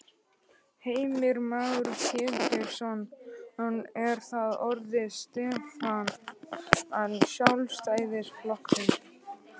Heimir Már Pétursson: Er það þá orðin stefna Sjálfstæðisflokksins?